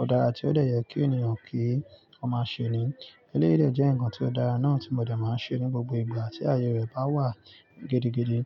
ó dára tí ó dẹ̀ yẹ kí ènìyàn kí ó máa ṣe ni. Eléèyii dẹ jẹ́ nǹkan tí ó dára náà tí mo dẹ̀ máa ń ṣe ní gbogbo ìgbà tí aye rẹ̀ bá wà gidi, gidi.